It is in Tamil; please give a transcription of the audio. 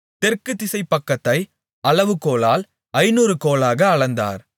தெற்கு திசைப்பக்கத்தை அளவு கோலால் ஐந்நூறு கோலாக அளந்தார்